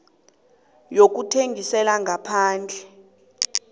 yokuthengisela ngaphandle